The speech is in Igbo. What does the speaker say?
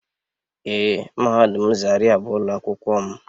Ee mahadum zaria bu ulo akwukwo m.